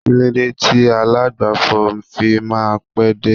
kilode ti alagbafo fi ma n pe dé